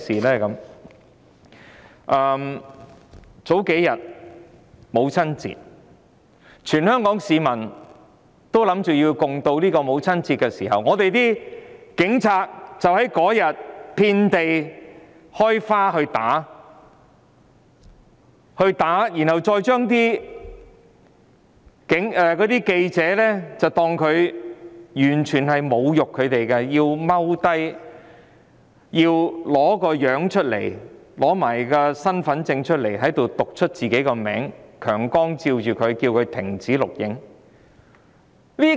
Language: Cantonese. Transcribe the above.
數天前的母親節，全港市民原本想歡度母親節，但警察當天就"遍地開花"打市民，侮辱記者，要記者蹲下來，要他們拿出身份證逐一讀出自己的名字，又用強光照射他們，要他們停止錄影。